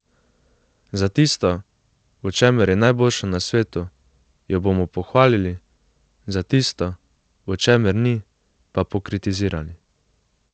Za tisto, v čemer je najboljša na svetu, jo bomo pohvalili, za tisto, v čemer ni, pa pokritizirali.